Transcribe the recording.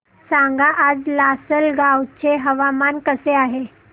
सांगा आज लासलगाव चे हवामान कसे आहे